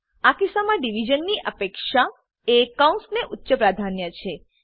આ કિસ્સામાં ડીવીઝન ની અપેક્ષા એ કૌંસને ઉચ્ચ પ્રાધાન્ય છે